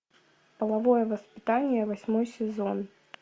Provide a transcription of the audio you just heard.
половое воспитание восьмой сезон